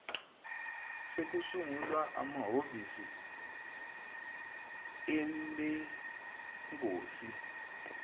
sekusungulwe amahovisi alengosi